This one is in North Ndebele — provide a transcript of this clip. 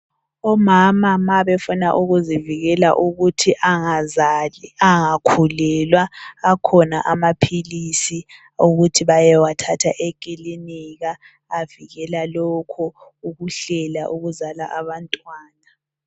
omama ma befuna ukuzivikela ukuthi angazali angakhulelwa akhona amaphilisi okuthi bayewathatha ekilinika avikela lokho ukuhlela ukuzala abantwana